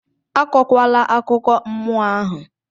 Akọkwala akụkọ mmụọ ahụ!